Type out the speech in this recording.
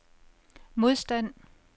modstand